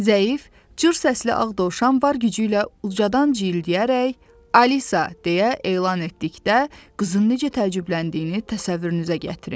Zəif, cır səli ağ dovşan var gücü ilə ucadan cildiyərək Alisa deyə elan etdikdə qızın necə təəccübləndiyini təsəvvürünüzə gətirin.